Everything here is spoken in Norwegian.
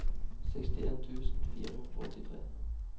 sekstien tusen fire hundre og åttitre